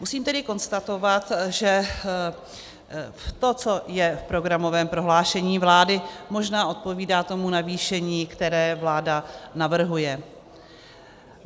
Musím tedy konstatovat, že to, co je v programovém prohlášení vlády, možná odpovídá tomu navýšení, které vláda navrhuje.